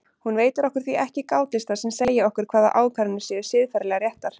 Hún veitir okkur því ekki gátlista sem segja okkur hvaða ákvarðanir séu siðferðilega réttar.